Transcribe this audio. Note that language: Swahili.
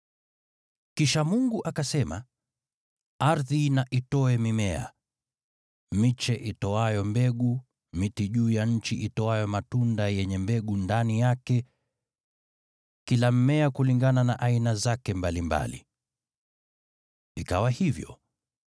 Kisha Mungu akasema, “Ardhi na itoe mimea: miche itoayo mbegu, miti juu ya nchi itoayo matunda yenye mbegu ndani yake, kila mmea kulingana na aina zake mbalimbali.” Ikawa hivyo.